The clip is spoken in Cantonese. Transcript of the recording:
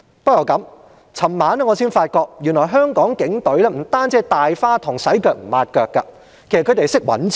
不過，昨晚我才發覺原來香港警隊並非只是"大花筒"，"洗腳唔抹腳"，他們也懂得掙錢。